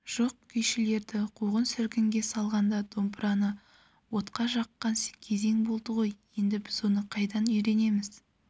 жоқ күйшілерді қуғын-сүргінге салғанда домбыраны отқа жаққан кезең болды ғой енді біз оны қайдан үйренеміз